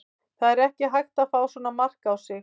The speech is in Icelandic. Það er ekki hægt að fá svona mark á sig.